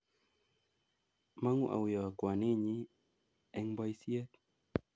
Mangu auiyo kwaninyi eng boisiet